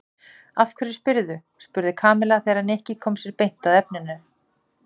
Af hverju spyrðu? spurði Kamilla þegar Nikki kom sér beint að efninu.